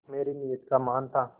मेरी नीयत का मान था